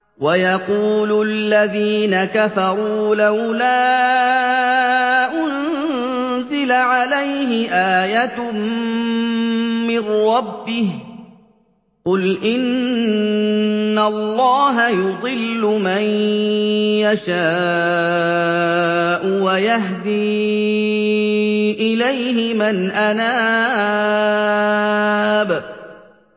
وَيَقُولُ الَّذِينَ كَفَرُوا لَوْلَا أُنزِلَ عَلَيْهِ آيَةٌ مِّن رَّبِّهِ ۗ قُلْ إِنَّ اللَّهَ يُضِلُّ مَن يَشَاءُ وَيَهْدِي إِلَيْهِ مَنْ أَنَابَ